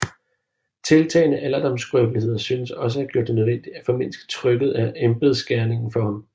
Tiltagende alderdomsskrøbeligheder synes også at have gjort det nødvendigt at formindske trykket af embedsgerningen for ham